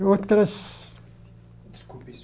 Outras... Desculpe